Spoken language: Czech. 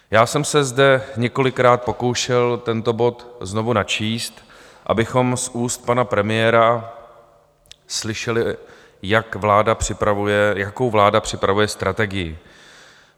Já jsem se zde několikrát pokoušel tento bod znovu načíst, abychom z úst pana premiéra slyšeli, jakou vláda připravuje strategii.